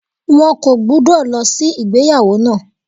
Wọn kò gbúdọ̀ lọ sí ìgbéyàwó náà.